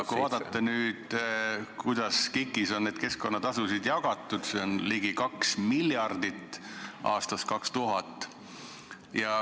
Vaatame, kuidas KIK-is on keskkonnatasusid jagatud, s.o ligi 2 miljardit aastast 2000.